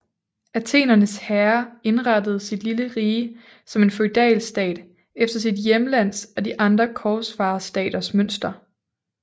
Athenernes herre indrettede sit lille rige som en feudalstat efter sit hjemlands og de andre korsfarerstaters mønster